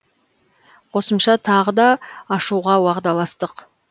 қосымша тағы да ашуға уағдаластық